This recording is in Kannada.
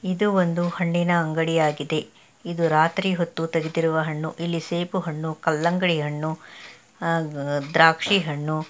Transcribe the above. ಇದು ಒಂದು ಹಣ್ಣಿನ ಅಂಗಡಿ ಆಗಿದೆ ಇದು ರಾತ್ರಿ ಹೊತ್ತು ತೆಗೆದಿರುವ ಹಣ್ಣು. ಇಲ್ಲಿ ಸೇಬು ಹಣ್ಣು ಕಲ್ಲಂಗಡಿ ಹಣ್ಣುಅಹ್ ದ್ರಾಕ್ಷಿ ಹಣ್ಣು--